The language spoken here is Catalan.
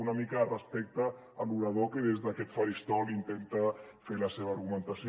una mica de respecte a l’orador que des d’aquest faristol intenta fer la seva argumentació